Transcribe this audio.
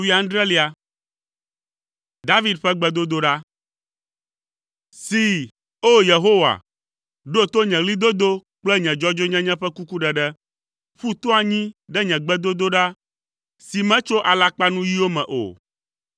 David ƒe gbedodoɖa. See, O! Yehowa, ɖo to nye ɣlidodo kple nye dzɔdzɔenyenye ƒe kukuɖeɖe. Ƒu to anyi ɖe nye gbedodoɖa si metso alakpanuyiwo me o.